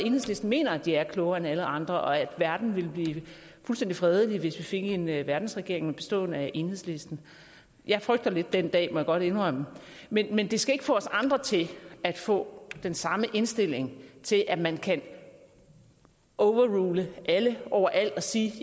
at enhedslisten mener at de er klogere end alle andre og at verden ville blive fuldstændig fredelig hvis vi fik en verdensregering bestående af enhedslisten jeg frygter lidt den dag må jeg indrømme men men det skal ikke få os andre til at få den samme indstilling til at man kan overrule alle overalt og sige det